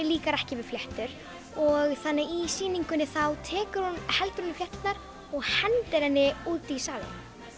líkar ekki við fléttur og þannig að í sýningunni heldur hún í flétturnar og hendir henni út í salinn